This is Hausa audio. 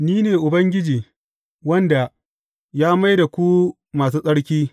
Ni ne Ubangiji, wanda ya mai da ku masu tsarki.